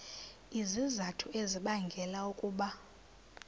izizathu ezibangela ukuba